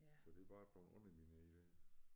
Så det er bare blevet undermineret er det